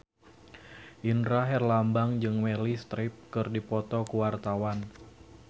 Indra Herlambang jeung Meryl Streep keur dipoto ku wartawan